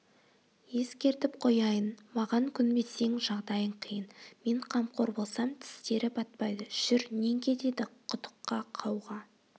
ескертіп қояйын маған көнбесең жағдайың қиын мен қамқор болсам тістері батпайды жүр нең кетеді құдыққа қауға